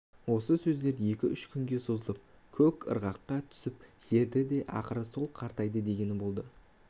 осы сөздер екі-үш күнге созылып көп ырғаққа түсіп жүрді де ақыры сол қаратайдың дегені болды